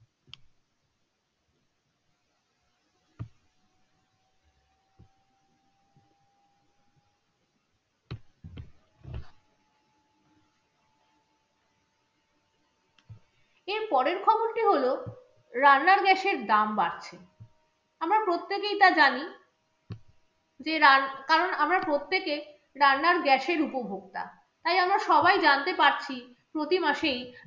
এর পরের খবরটি হলো, রান্নার gas এর দাম বাড়ছে আমরা প্রত্যেকেই তা জানি যে কারণ আমরা প্রত্যেকে রান্নার gas এর উপভোক্তা, তাই আমরা সবাই জানতে পারছি প্রতি মাসেই